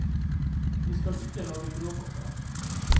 Vi skal ikke lage bråk om det.